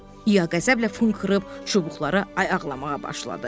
İya qəzəblə funxırıb çubuqlara ayaqlamağa başladı.